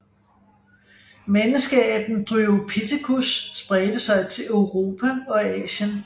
Menneskeaben Dryopithecus spredte sig til Europa og Asien